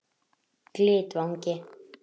Glitvangi